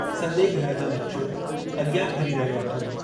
सॼे घर जो नक़्शो अॻियां फिरी रहयो अथुमि।